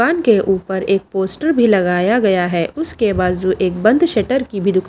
दुकान के ऊपर एक पोस्टर भी लगाया गया है उसके बाज़ू एक बंद शटर की भी दुका --